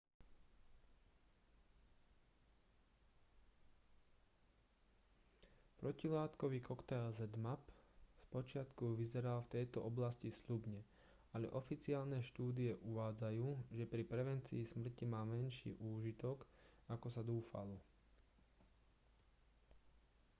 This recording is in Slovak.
protilátkový koktail zmapp spočiatku vyzeral v tejto oblasti sľubne ale oficiálne štúdie uvádzajú že pri prevencii smrti mal menší úžitok ako sa dúfalo